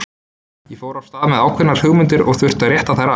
Ég fór af stað með ákveðnar hugmyndir og þurfti að rétta þær af.